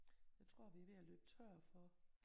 Jeg tror vi er ved at løbe tør for